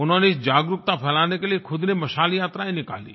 उन्होंने जागरूकता फ़ैलाने के लिए ख़ुद ने मशाल यात्राएँ निकाली